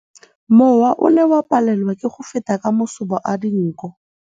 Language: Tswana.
Mowa o ne o palelwa ke go feta ka masoba a dinko.